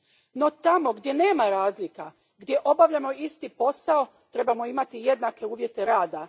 No tamo gdje nema razlika, gdje obavljamo isti posao, trebamo imati jednake uvjete rada.